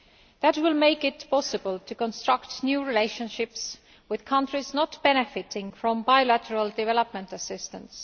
That will make it possible to construct new relationships with countries not benefiting from bilateral development assistance.